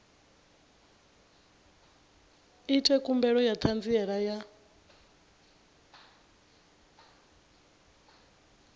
ite khumbelo ya ṱhanziela ya